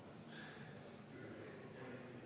Palun võtta seisukoht ja hääletada!